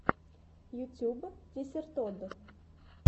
ютуб десертод